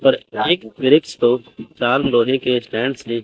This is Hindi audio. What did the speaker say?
पर एक वृक्ष को चार लोहे के स्टैंड से--